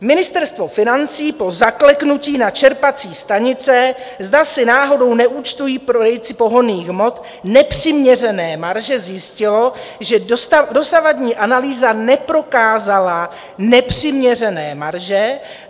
Ministerstvo financí po zakleknutí na čerpací stanice, zda si náhodou neúčtují prodejci pohonných hmot nepřiměřené marže, zjistilo, že dosavadní analýza neprokázala nepřiměřené marže.